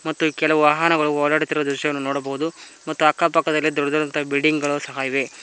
ಮತ್ತು ಕೆಲವು ವಾಹನಗಳು ಓಡಾಡುತ್ತಿರುವ ದೃಶ್ಯವನ್ನು ನೋಡಬಹುದು ಮತ್ತು ಅಕ್ಕ ಪಕ್ಕದಲ್ಲಿ ದೊಡ್ಡ ದೊಡ್ಡ ಅಂತ ಬಿಲ್ಡಿಂಗ್ ಸಹ ಇದೆ.